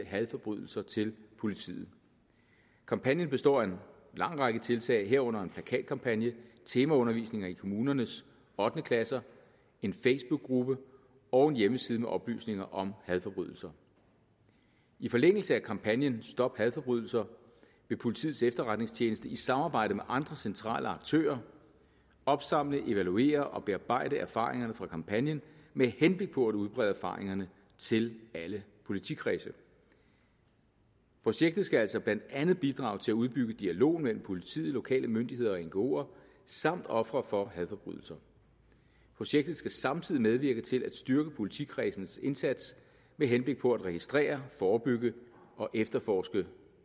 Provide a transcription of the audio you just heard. hadforbrydelser til politiet kampagnen består af en lang række tiltag herunder en plakatkampagne temaundervisning i kommunernes ottende klasser en facebookgruppe og en hjemmeside med oplysninger om hadforbrydelser i forlængelse af kampagnen stop hadforbrydelser vil politiets efterretningstjeneste i samarbejde med andre centrale aktører opsamle evaluere og bearbejde erfaringerne fra kampagnen med henblik på at udbrede erfaringerne til alle politikredse projektet skal altså blandt andet bidrage til at udbygge dialogen mellem politiet lokale myndigheder og ngoer samt ofre for hadforbrydelser projektet skal samtidig medvirke til at styrke politikredsenes indsats med henblik på at registrere forebygge og efterforske